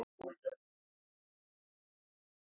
En það sem mestu máli skiptir er að ná fram góðum leikum.